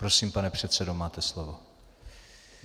Prosím, pane předsedo, máte slovo.